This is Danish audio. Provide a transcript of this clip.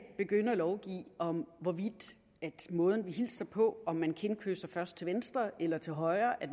begynde at lovgive om hvorvidt måden vi hilser på om man kindkysser først til venstre eller til højre er